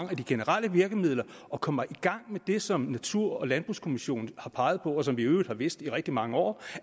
af de generelle virkemidler og kommer i gang med det som natur og landbrugskommissionen har peget på og som vi i øvrigt har vidst i rigtig mange år